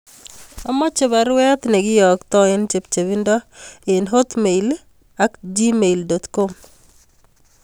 Amache baruet negiyokto en chepchepindo en Hotmail at gmail dot com